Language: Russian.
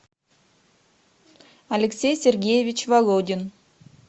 алексей сергеевич володин